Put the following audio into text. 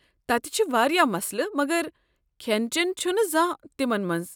تتہِ چھ وارِیاہ مسلہٕ مگر کھٮ۪ن چٮ۪ن چھُنہٕ زانٛہہ تِمن منٛز۔